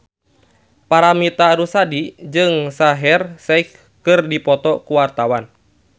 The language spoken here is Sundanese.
Paramitha Rusady jeung Shaheer Sheikh keur dipoto ku wartawan